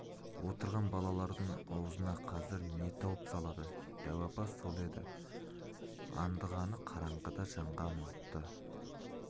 отырған балалардың аузына қазір не тауып салады дәу апа сол еді андығаны қараңғыда жанған отты